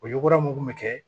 O yugura mun bɛ kɛ